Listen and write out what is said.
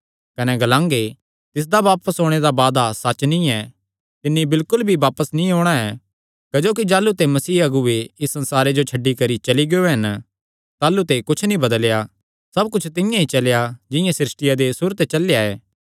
कने ग्लांगे तिसदा बापस ओणे दा वादा सच्च नीं ऐ तिन्नी बिलकुल भी बापस नीं औणां ऐ क्जोकि जाह़लू ते मसीह अगुऐ इस संसारे जो छड्डी करी चली गियो हन ताह़लू ते कुच्छ नीं बदलेया सब कुच्छ तिंआं ई चलेया जिंआं सृष्टिया दे सुरू ते चलेया ऐ